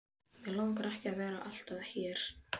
Mig langar ekki að vera alltaf hér.